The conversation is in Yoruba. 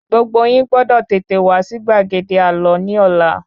Gbogbo yín gbọ́dọ̀ tètè wá sí gbàgede àlọ́ ní Ọlá